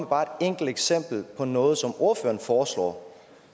bare et enkelt eksempel på noget som ordføreren foreslår